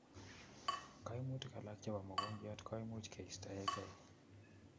Koimutic alak chepo mokongiot koimuch keitaekei